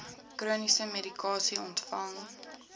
chroniese medikasie ontvang